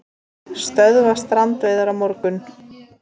Stöðva strandveiðar á morgun